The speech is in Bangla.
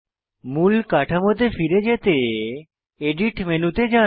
মূল কাঠামোতে ফিরে পেতে এডিট মেনুতে যান